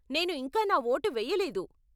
నేను ఇంకా నా ఓటు వెయ్యలేదు.